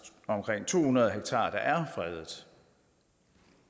omkring to hundrede ha der er fredet